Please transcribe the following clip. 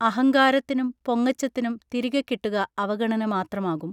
അഹങ്കാരത്തിനും പൊങ്ങച്ചത്തിനും തിരികെക്കിട്ടുക അവഗണന മാത്രമാകും